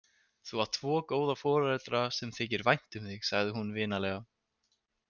Þú átt tvo góða foreldra sem þykir vænt um þig, sagði hún vinalega.